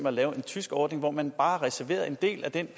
at lave en tysk ordning hvor man bare reserverede en del af den